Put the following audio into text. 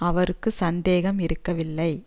அவருக்கு சந்தேகம் இருக்கவில்லை